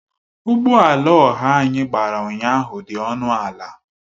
Ụgbọ ala ọha anyị gbara ụnyahụ dị ọnụ ala